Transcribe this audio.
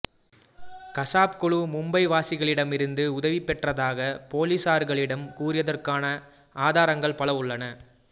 கசாப் குழு மும்பை வாசிகளிடமிரிந்து உதவி பெற்றதாக போலிசார்களிடம் கூறியதற்கான ஆதாரங்கள் பல உள்ளன